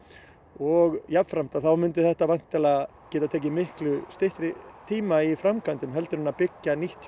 og jafnframt að þá mundi þetta væntanlega geta tekið miklu styttri tíma í framkvæmdum heldur en að byggja nýtt